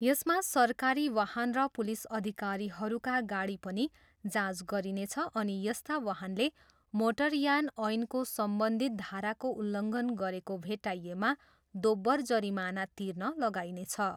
यसमा सरकारी वाहन र पुलिस अधिकारीहरूका गाडी पनि जाँच गरिनेछ अनि यस्ता वाहनले मोटरयान ऐनको सम्बन्धित धाराको उल्लङ्घन गरेको भेट्टाइएमा दोब्बर जरिमाना तिर्न लगाइनेछ।